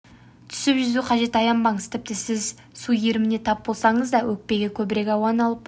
түсіп жүзу қажет аянбаңыз тіпті сіз су иіріміне тап болсаңыз да өкпеге көбірек ауаны алып